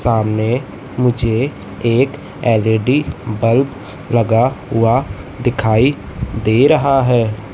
सामने मुझे एक एल_इ_डी बल्ब लगा हुआ दिखाई दे रहा है।